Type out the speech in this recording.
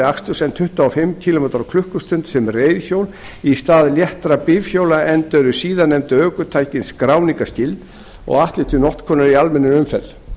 aksturs en tuttugu og fimm kílómetra á klukkustund sem reiðhjól í stað léttra bifhjóla enda eru síðarnefndu ökutækin skráningarskyld og ætluð til notkunar í almennri umferð